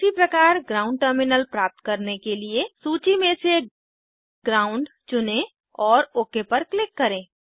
उसी प्रकार ground terminal प्राप्त करने के लिए सूची में से ग्राउंड ग्रौउंड चुनें और ओक पर क्लिक करें